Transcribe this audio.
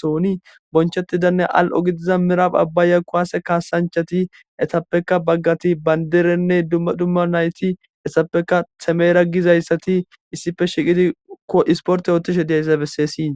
Sohoni bonchetidanne al'o gidiza mirab abaya kuwase kasanchati etapeka bagati bandirene duma duma nayti heysapekka temera gizaysi isipe shiqidi isporte othishe diyaysa beses.